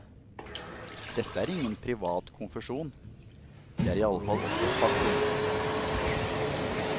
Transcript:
Dette er ingen privat konfesjon, det er iallfall også et faktum.